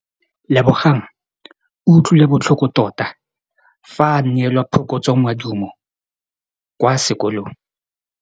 Lebogang o utlwile botlhoko tota fa a neelwa phokotsômaduô kwa sekolong.